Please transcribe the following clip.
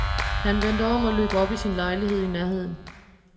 Han vendte om og løb op i sin lejlighed i nærheden.